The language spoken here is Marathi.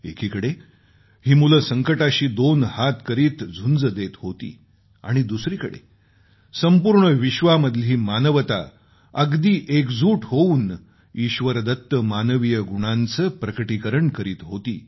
एकीकडे ही मुलं संकटाशी दोन हात करीत झुंज देत होते आणि दुसरीकडे संपूर्ण विश्वामधली मानवता अगदी एकजूट होऊन ईश्वरदत्त मानवीय गुणांचं प्रकटीकरण करीत होती